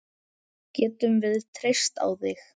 Getum við treyst á þig?